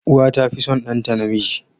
Uwa tafi son ɗanta namiji.